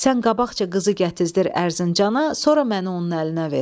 Sən qabaqca qızı gətizdir Ərzincana, sonra məni onun əlinə ver."